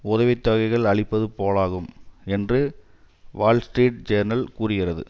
உதவி தொகைகள் அளிப்பது போலாகும் என்று வால் ஸ்ட்ரீட் ஜேர்னல் கூறுகிறது